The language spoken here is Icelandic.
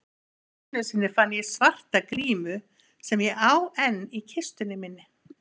Einu sinni fann ég svarta grímu sem ég á enn í kistunni minni.